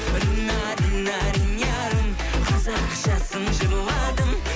рина рина ринярым қазақшасын жырладым